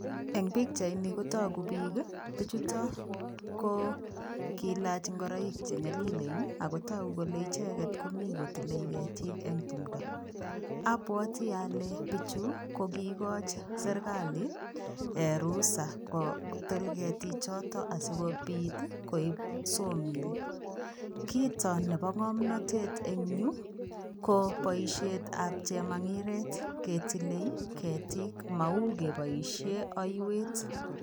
Eng pichait nii kotaguu biik ii bichutoo ko kilaach ingoraik che nyalilen ako taguu kole Mii kotile ketiik abwatii kole bichuu ko kigochiin serikali ruhusa kotil ketiik chotoon asikobiit ii koib sawa miil kiit AA nebo ngamnatet en Yuu ii ko boisiet ab chemangireet ketileen ketiik may kebaisheen aiweet.